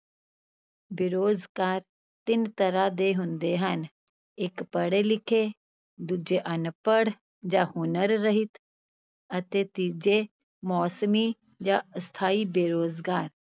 ਬੇਰੁਜ਼ਗਾਰ ਤਿੰਨ ਤਰ੍ਹਾਂ ਦੇ ਹੁੰਦੇ ਹਨ, ਇਕ ਪੜੇ-ਲਿਖੇ, ਦੂਜੇ ਅਨਪੜ੍ਹ ਜਾਂ ਹੁਨਰ ਰਹਿਤ ਅਤੇ ਤੀਜੇ ਮੌਸਮੀ ਜਾਂ ਅਸਥਾਈ ਬੇਰੁਜ਼ਗਾਰ।